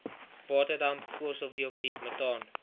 waterdamp koolstofdioksied metaan